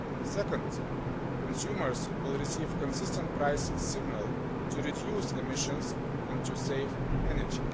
Second, consumers will receive a consistent price signal to reduce emissions and to save energy.